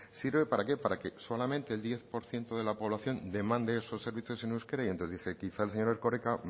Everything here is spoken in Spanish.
sirve para qué para que solamente el diez por ciento de la población demande esos servicios en euskera y quizá el señor erkoreka